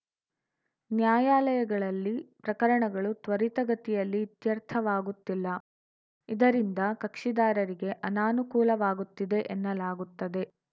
ನ್ಯಾಯಾಲಯಗಳಲ್ಲಿ ಪ್ರಕರಣಗಳು ತ್ವರಿತಗತಿಯಲ್ಲಿ ಇತ್ಯರ್ಥವಾಗುತ್ತಿಲ್ಲ ಇದರಿಂದ ಕಕ್ಷಿದಾರರಿಗೆ ಅನಾನುಕೂಲವಾಗುತ್ತಿದೆ ಎನ್ನಲಾಗುತ್ತದೆ